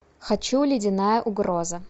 хочу ледяная угроза